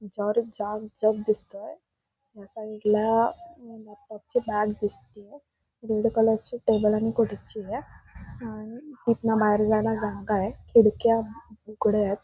याच्यावर एक छान जग दिसतय या साईडला बॅग दिसतीये रेड कलरची टेबल आणि खुर्ची ये आणि इथन बाहेर जायला जागा ये खिडक्या उघड्यायत.